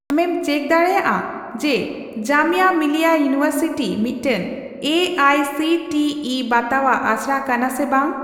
ᱟᱢᱮᱢ ᱪᱮᱠ ᱰᱟᱲᱮᱭᱟᱜᱼᱟ ᱡᱮ ᱡᱟᱢᱤᱭᱟ ᱢᱤᱞᱤᱭᱟ ᱤᱭᱩᱱᱤᱵᱷᱟᱨᱥᱤᱴᱤ ᱢᱤᱫᱴᱟᱝ A I C T E ᱵᱟᱛᱟᱣᱟᱜ ᱟᱥᱲᱟ ᱠᱟᱱᱟ ᱥᱮ ᱵᱟᱝ ?